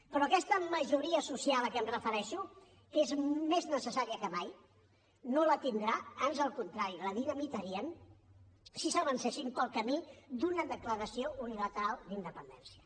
però aquesta majoria social a què em refereixo que és més necessària que mai no la tindrà ans al contrari la dinamitarien si s’avencessin pel camí d’una declaració unilateral d’independència